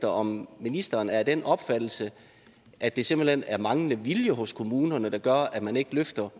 om ministeren er af den opfattelse at det simpelt hen er manglende vilje hos kommunerne der gør at man ikke løfter